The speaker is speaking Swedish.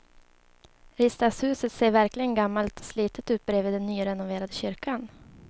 Riksdagshuset ser verkligen gammalt och slitet ut bredvid den nyrenoverade kyrkan.